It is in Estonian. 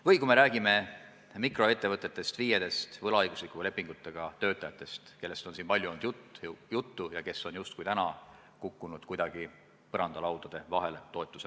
Mis puutub mikroettevõtetesse, FIE-desse, võlaõiguslepingutega töötajatesse, kellest on siin palju juttu olnud, siis nemad on toetuse mõttes justkui kukkunud kuidagi põrandalaudade vahele.